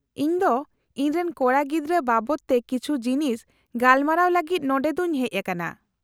-ᱤᱧ ᱫᱚ ᱤᱧᱨᱮᱱ ᱠᱚᱲᱟᱜᱤᱫᱽᱨᱟᱹ ᱵᱟᱵᱚᱫ ᱛᱮ ᱠᱤᱪᱷᱩ ᱡᱤᱱᱤᱥ ᱜᱟᱯᱟᱞᱢᱟᱨᱟᱣ ᱞᱟᱹᱜᱤᱫ ᱱᱚᱸᱰᱮ ᱫᱚᱧ ᱦᱮᱡ ᱟᱠᱟᱱᱟ ᱾